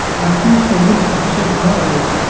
মাঠটি সবুজ ঘাসে ভরা রয়েছে।